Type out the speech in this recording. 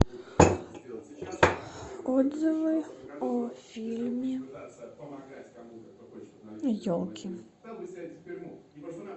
отзывы о фильме елки